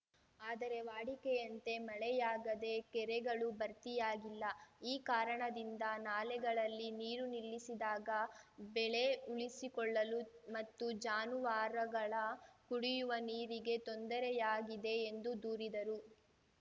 ಆದರೆ ವಾಡಿಕೆಯಂತೆ ಮಳೆಯಾಗದೆ ಕೆರೆಗಳು ಭರ್ತಿಯಾಗಿಲ್ಲ ಈ ಕಾರಣದಿಂದ ನಾಲೆಗಳಲ್ಲಿ ನೀರು ನಿಲ್ಲಿಸಿದಾಗ ಬೆಳೆ ಉಳಿಸಿಕೊಳ್ಳಲು ಮತ್ತು ಜಾನುವಾರುಗಳ ಕುಡಿಯುವ ನೀರಿಗೆ ತೊಂದರೆಯಾಗಿದೆ ಎಂದು ದೂರಿದರು